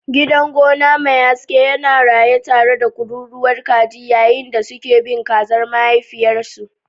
Gidan gona mai haske yana raye tare da kururuwar kaji yayin da suke bin kazar mahaifiyarsu.